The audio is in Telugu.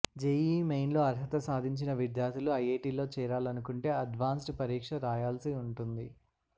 జెఇఇ మెయిన్లో అర్హత సాధించిన విద్యార్థులు ఐఐటీల్లో చేరాలనుకుంటే అడ్వాన్స్డ్ పరీక్ష రాయాల్సి ఉంటుంది